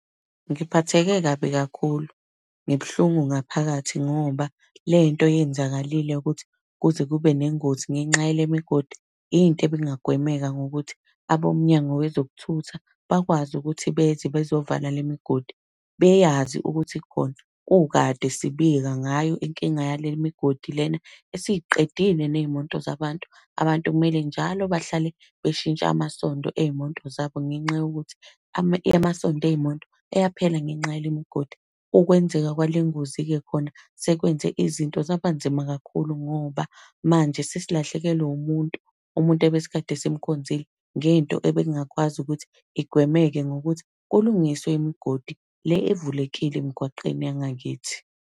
Ngiphatheke kabi kakhulu. Ngibuhlungu ngaphakathi, ngoba lento eyenzakalile ukuthi kuze kube nengozi ngenxa yale migodi, into ebingagwemeka ngokuthi abomnyango wezokuthutha bakwazi ukuthi beze bezovala le migodi. Beyazi ukuthi ikhona, kukade sibika ngayo inkinga yale migodi lena, esiy'qedile ney'moto zabantu. Abantu kumele njalo bahlale beshintsha amasonto ey'moto zabo ngenxa yokuthi amasondo ey'moto ayaphela ngenxa yale migodi. Ukwenzeka kwale ngozi-ke khona sekwenze izinto zabanzima kakhulu ngoba, manje sesilahlekelwa wumuntu. Umuntu ebesikade simkhonzile, ngento ebekungakwazi ukuthi igwemeke ngokuthi kulungiswe imgodi le evulekile emgwaqeni yangakithi.